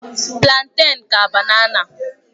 Plantèn ka banana.